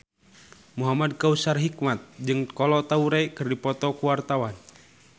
Muhamad Kautsar Hikmat jeung Kolo Taure keur dipoto ku wartawan